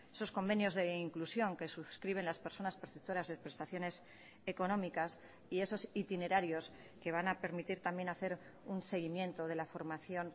sus convenios de inclusión que suscriben las personas perceptoras de prestaciones económicas y esos itinerarios que van a permitir también hacer un seguimiento de la formación